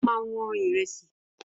Ó ma wọn ìrẹsì